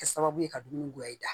Kɛ sababu ye ka dumuni gulɔ e da